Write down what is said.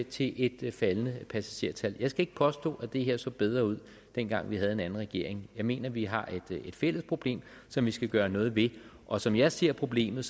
til et faldende passagertal jeg skal ikke påstå at det her så bedre ud dengang vi havde en anden regering jeg mener at vi har et fælles problem som vi skal gøre noget ved og som jeg ser problemet